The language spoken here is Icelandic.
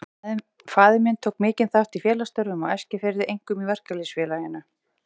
Faðir minn tók mikinn þátt í félagsstörfum á Eskifirði, einkum í Verkalýðs- félaginu.